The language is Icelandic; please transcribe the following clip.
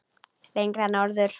Lengra norður.